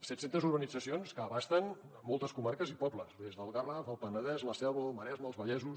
set centes urbanitzacions que abasten moltes comarques i pobles des del garraf el penedès la selva el maresme els vallesos